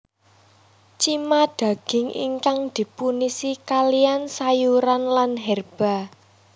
Cima daging ingkang dipunisi kaliyan sayuran lan herba